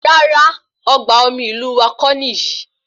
Rárá, ọgbà omi ìlú wá kò níyì